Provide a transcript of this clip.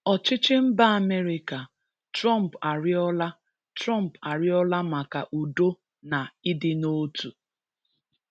Ọchịchị mba Amerịka: Trump arịọla Trump arịọla maka udo na ịdị n'otu.